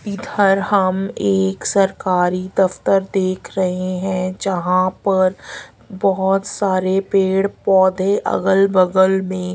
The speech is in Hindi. इधर हम एक सरकारी दफ्तर देख रहे हैं जहां पर बहुत सारे पेड़ पौधे अगल बगल में--